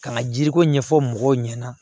Ka na jiri ko ɲɛfɔ mɔgɔw ɲɛna